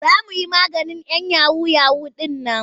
Za mu yi maganin 'yan yahu-yahu ɗin nan.